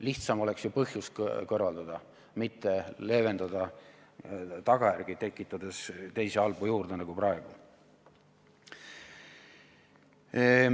Lihtsam oleks ju põhjus kõrvaldada, mitte leevendada tagajärgi, tekitades teisi halbu tagajärgi juurde nagu praegu.